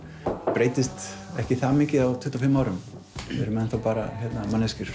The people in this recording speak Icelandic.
breytist ekki það mikið á tuttugu og fimm árum við erum bara manneskjur